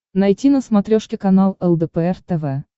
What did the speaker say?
найти на смотрешке канал лдпр тв